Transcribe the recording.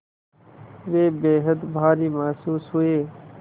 वे बेहद भारी महसूस हुए